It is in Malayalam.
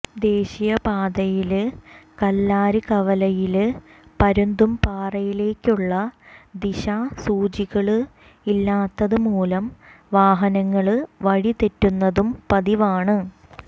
ദേശീയപാതയില് കല്ലാര് കവലയില് പരുന്തുംപാറയിലേയ്ക്കുള്ള ദിശാസൂചികകള് ഇല്ലാത്തതുമൂലം വാഹനങ്ങള് വഴിതെറ്റുന്നതും പതിവാണ്